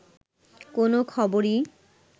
কোন খবরই